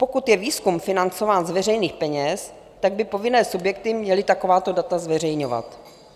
Pokud je výzkum financován z veřejných peněz, tak by povinné subjekty měly takováto data zveřejňovat.